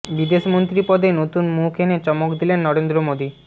বিদেশমন্ত্রী পদে নতুন মুখ এনে চমক দিলেন নরেন্দ্র মোদী